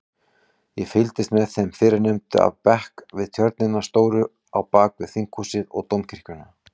Ég fylgist með þeim fyrrnefndu af bekk við tjörnina stóru á bakvið Þinghúsið og Dómkirkjuna.